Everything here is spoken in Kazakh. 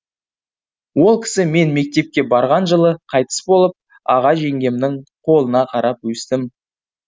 ол кісі мен мектепке барған жылы қайтыс болып аға жеңгемнің қолына қарап өстім